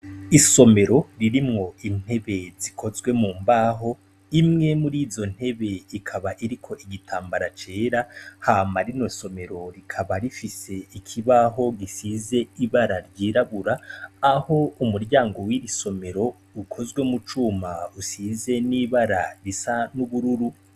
Isomero ririmwo intebe zikozwe mu mbaho. Imwe muri izo ntebe ikaba iriko igitambara c'era, hama rino somero rikaba rifise ikibaho gisize ibara ry'irabura, aho umuryango w'iri somero ukozwe mu cuma usize n'ibara risa n'ubururu.